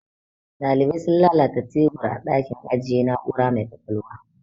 Daliban sun lalata tubur a dakin ajiye na'ura mai ƙwaƙwalwa.